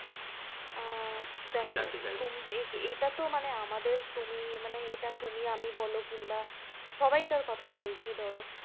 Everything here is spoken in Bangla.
আহ দেখো। আমি জানতে চাইব। এটা তো মানে আমাদের তিমি মানে এটা তুমি আমি বলও কিংবা সবাইকার কথাই বলছি ধরো